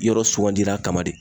Yɔrɔ sugandira kama de.